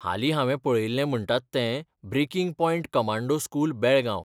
हालीं हांवें पळयिल्लें म्हणटा तें 'breaking point commando school, Belgaum'.